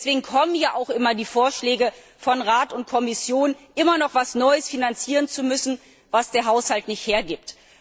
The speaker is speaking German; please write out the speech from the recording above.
Deswegen kommen ja auch immer die Vorschläge von Rat und Kommission, immer noch etwas Neues finanzieren zu müssen, was der Haushalt nicht hergibt.